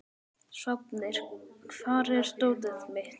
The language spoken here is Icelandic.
Sváfnir, hvar er dótið mitt?